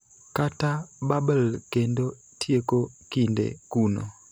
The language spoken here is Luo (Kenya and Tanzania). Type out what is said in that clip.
kata bubble kendo tieko kinde kuno.